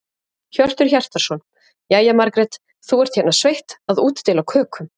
Hjörtur Hjartarson: Jæja, Margrét, þú ert hérna sveitt að útdeila kökum?